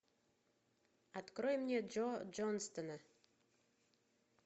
открой мне джо джонстона